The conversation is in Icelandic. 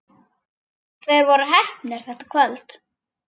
Þeir voru heppnir þetta kvöld.